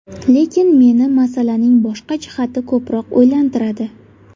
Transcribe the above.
Lekin meni masalaning boshqa jihati ko‘proq o‘ylantiradi.